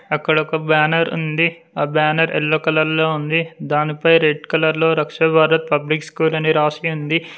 అక్కడ ఒక బ్యానర్ ఉంది ఆ బ్యానర్ ఎల్లో కలర్ లో ఉంది దానిపై రెడ్ కలర్ లో రాష్ట్ర భరత్ పబ్లిక్ స్కూల్ అని రాసి ఉంది.